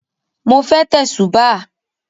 Mo fẹ́ tẹ̀sùbáà